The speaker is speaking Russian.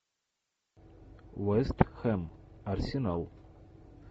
вест хэм арсенал